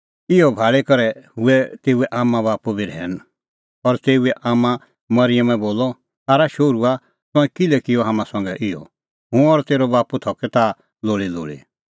इहअ भाल़ी करै हुऐ तेऊए आम्मांबाप्पू बी रहैन और तेऊए आम्मां मरिअमे बोलअ आरा शोहरूआ तंऐं किल्है किअ हाम्हां संघै इहअ हुंह और तेरअ बाप्पू थकै ताह लोल़ीलोल़ी